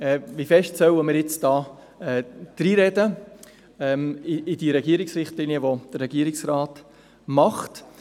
Wie stark sollen wir in die Regierungsrichtlinien dreinreden?